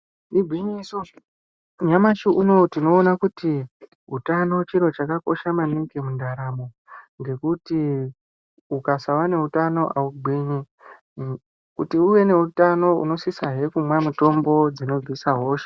Igwinyiso, nyamashi uno tinoona kuti utano chiro chakakosha maningi mundaramo, ngekuti ukasawe neutano haugwinyi. Kuti uwe neutano unosisa kumwa mutombo dzinobvisa hosha.